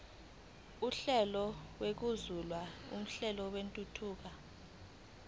uhlelo olubukeziwe lwentuthuko